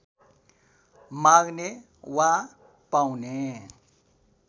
माग्ने वा पाउने